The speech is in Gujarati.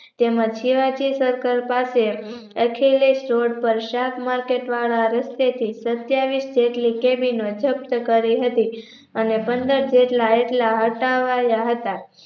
તેમાં શિવાજી Circle પાસે અખિલેશ રોડ પર શાકમાર્કેટ વાળા રસ્તેથી સત્યાવીસ જેટલી cabin જપ્ત કરી હતી એને પંદર જેટલા એટલા હટાવાયા હતા